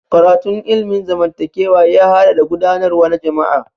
Karatun ilimin zamantakewa ya haɗa da gudanarwa na jama'a.